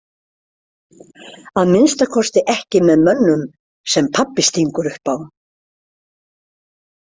Að minnsta kosti ekki með mönnum sem pabbi stingur upp á.